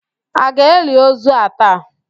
A ga-eli ozu a taa?